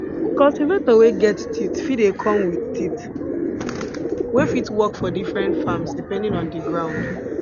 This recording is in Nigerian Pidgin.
cultivator wey get teeth fit dey come with teeth wey fit for work for different farms depending on di ground